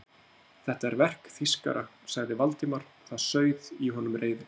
Þetta er verk þýskara sagði Valdimar og það sauð í honum reiðin.